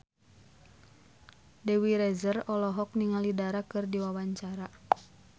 Dewi Rezer olohok ningali Dara keur diwawancara